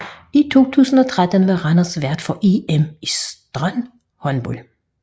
I 2013 var Randers vært for EM i strandhåndbold